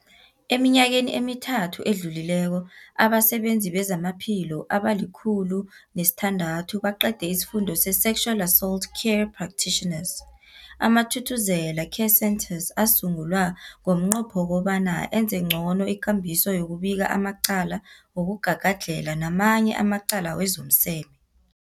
Eminyakeni emithathu edluleko, abasebenzi bezamaphilo abali-106 baqede isiFundo se-Sexual Assault Care Practitioners. AmaThuthuzela Care Centres asungulwa ngomnqopho wokobana enze ngcono ikambiso yokubika amacala wokugagadlhela namanye amacala wezomseme.